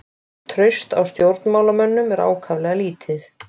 Traust á stjórnmálamönnum er ákaflega lítið